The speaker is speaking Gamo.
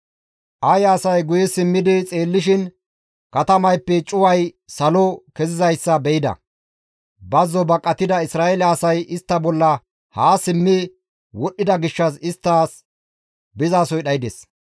Aye asay guye simmidi xeellishin katamayppe cuway salo kezizayssa be7ida. Bazzo baqatida Isra7eele asay istta bolla haa simmi wodhdhida gishshas isttas bizasoy dhaydes.